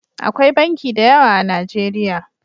Akwai banki da yawa a najeriya